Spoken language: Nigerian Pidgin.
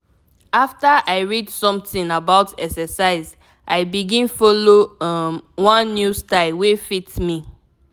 after i read something about exercise i begin follow um one new style wey fit me.